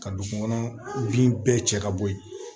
Ka dugukɔnɔ bin bɛɛ cɛ ka bɔ ye